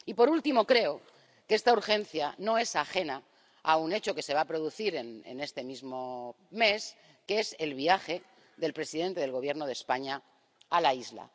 Y, por último, creo que esta urgencia no es ajena a un hecho que se va a producir en este mismo mes, que es el viaje del presidente del Gobierno de España a la isla.